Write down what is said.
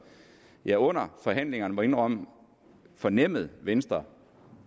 jeg under forhandlingerne må jeg indrømme fornemmede at venstre